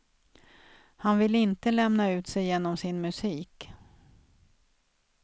Han vill inte lämna ut sig genom sin musik.